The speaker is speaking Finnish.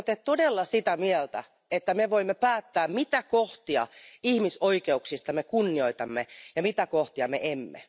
Oletteko te todella sitä mieltä, että me voimme päättää, mitä kohtia ihmisoikeuksista me kunnioitamme ja mitä kohtia emme?